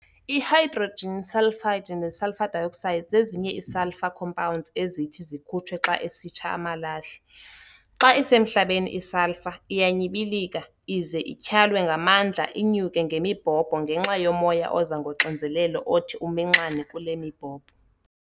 I-Hydrogen sulfide ne-sulfur dioxide zezinye ii-sulfur compounds ezithi zikhutshwe xa esitsha amalahle. Xa isemhlabeni i-sulphur, iyanyibilika, ize ityhalwe ngamandla inyuke ngemibhobho ngenxa yomoya oza ngoxinzelelo othi uminxane kule mibhobho.